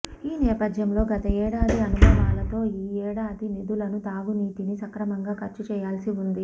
ఈ నేపథ్యంలో గత ఏడాది అనుభవాలతో ఈ ఏడాది నిధులను తాగునీటికి సక్రమంగా ఖర్చు చేయాల్సి ఉంది